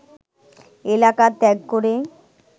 এলাকা ত্যাগ করে